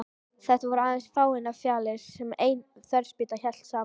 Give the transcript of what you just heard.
Þetta voru aðeins fáeinar fjalir sem ein þverspýta hélt saman.